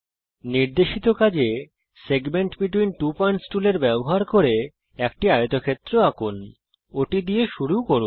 নির্দেশিত কাজ a segment between two points টুলের ব্যবহার করে একটি আয়তক্ষেত্র আঁকুন ওটা দিয়ে শুরু করি